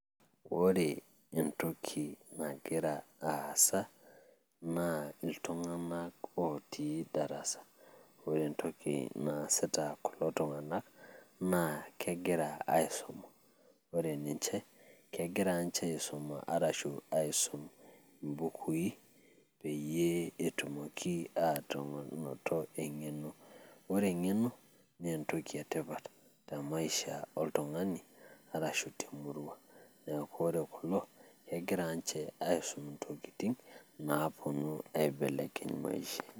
ore entoki nagira aasa naa iltuganak ootii darasa, ore entoki naasita kulo tunganak naa kegira aisuma, ore ninche kegira ninche aisuma ashu aisum ibukui peyie etumoki aanoto engeno. ore engeno naa entoki etipat oleng te maisha oltungani, arashu te murua. naa ore kulo kegiraa ninche aisum intokitin naapuonu aibelekeny maisha.